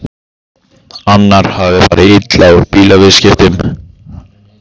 Annar hafði farið illa út úr bílaviðskiptum.